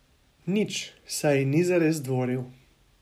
Nič, saj ji ni zares dvoril.